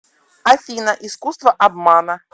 афина искуство обмана